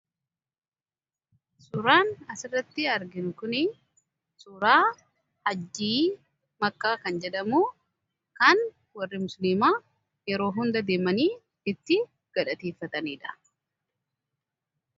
suuraan asirratti argin kuni suuraa hajjii makkaa kan jedhamu kan warri msuniimaa yeroo hunda deemanii itti gadhateeffataniidha